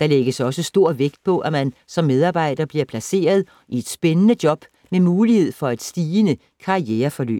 Der lægges også stor vægt på, at man som medarbejder bliver placeret i et spændende job med mulighed for et stigende karriereforløb.